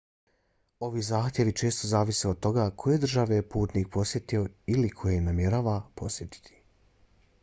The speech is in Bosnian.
ovi zahtjevi često zavise od toga koje države je putnik posjetio ili koje namjerava posjetiti